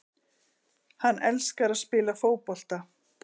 Hann elskar að spila fótbolta